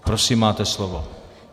Prosím, máte slovo.